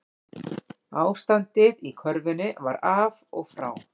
Ástandið í körfunni var af og frá